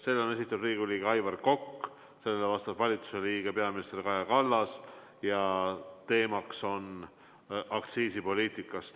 Selle on esitanud Riigikogu liige Aivar Kokk, sellele vastab valitsuse liige peaminister Kaja Kallas ja teema on aktsiisipoliitika.